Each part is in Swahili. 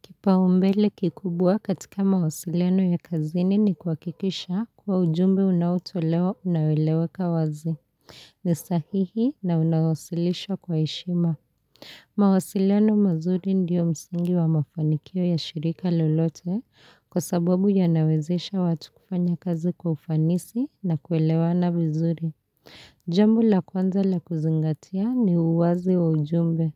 Kipaumbele kikubwa katika mawasiliano ya kazini ni kuhakikisha kuwa ujumbe unaotolewa unaeleweka wazi. Ni sahihi na unawasilisha kwa heshima. Mawasiliano mazuri ndiyo msingi wa mafanikio ya shirika lolote kwa sababu yanawezesha watu kufanya kazi kwa ufanisi na kuelewana vizuri. Jambo la kwanza la kuzingatia ni uwazi wa ujumbe.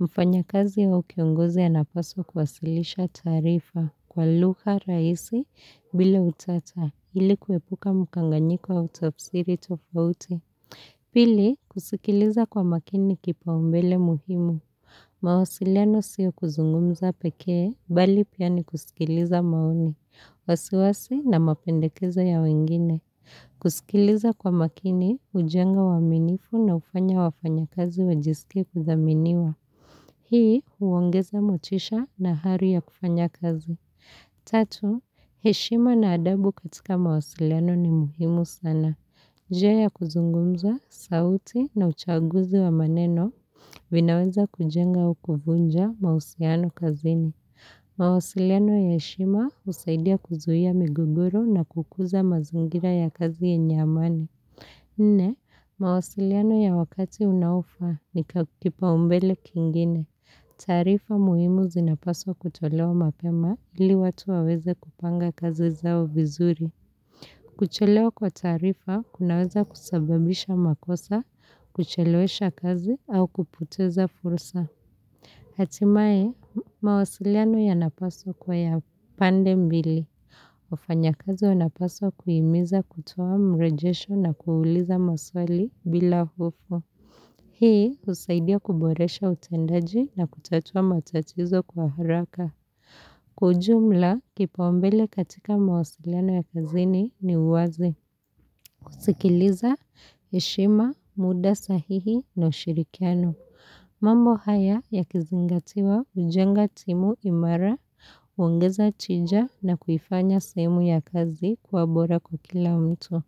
Mfanyakazi au kiongozi anapaswa kuwasilisha taarifa kwa lugha rahisi bila utata ili kuepuka mkanganyiko wa utafsiri tofauti. Pili, kusikiliza kwa makini kipaumbele muhimu. Mawasiliano sio kuzungumza pekee, bali pia ni kusikiliza maoni, wasiwasi na mapendekezo ya wengine. Kusikiliza kwa makini, hujenga uaminifu na hufanya wafanyakazi wajisike kudhaminiwa. Hii huongeza motisha na ari ya kufanya kazi. Tatu, heshima na adabu katika mawasiliano ni muhimu sana. Njia ya kuzungumza, sauti na uchaguzi wa maneno vinaweza kujenga au kuvunja mahusiano kazini. Mawasiliano ya heshima husaidia kuzuia migogoru na kukuza mazingira ya kazi yenye amani. Nne, mawasiliano ya wakati unaofaa ni kipaumbele kingine. Taarifa muhimu zinapaswa kutolewa mapema ili watu waweze kupanga kazi zao vizuri. Kuchelewa kwa taarifa kunaweza kusababisha makosa, kuchelewesha kazi au kupoteza fursa. Hatimae mawasiliano yanapaswa kuwa ya pande mbili. Wafanyakazi wanapaswa kuhimiza kutoa mrejesho na kuuliza maswali bila hofu. Hii husaidia kuboresha utendaji na kutatua matatizo kwa haraka. Kwa ujumla kipaumbele katika mawasiliano ya kazini ni uwazi. Kusikiliza, heshima, muda sahihi na ushirikiano. Mambo haya yakizingatiwa hujenga timu imara, huongeza tija na kuifanya sehemu ya kazi kuwa bora kwa kila mtu.